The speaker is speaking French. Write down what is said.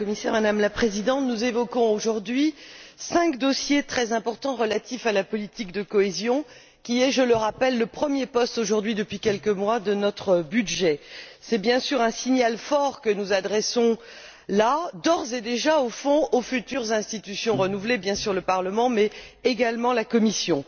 Madame la Présidente, Madame la Commissaire, nous évoquons aujourd'hui cinq dossiers très importants relatifs à la politique de cohésion qui est, je le rappelle, le premier poste aujourd'hui, depuis quelques mois, de notre budget. C'est bien sûr un signal fort que nous adressons d'ores et déjà aux futures institutions renouvelées, au Parlement, bien sûr, mais également à la Commission.